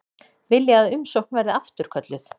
Vilja að umsókn verði afturkölluð